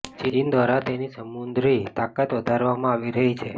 ચીન દ્વારા તેની સમુદ્રી તાકાત વધારવામાં આવી રહી છે